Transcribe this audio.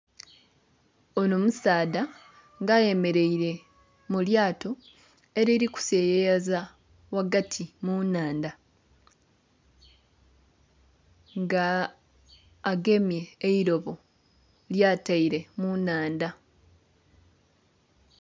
Ono musaadha nga ayemeleire mu lyato eliri kuseyeyeza ghagati mu nnhandha. Nga agemye eilobo lyataire mu nnhandha.